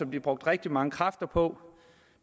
blev brugt rigtig mange kræfter på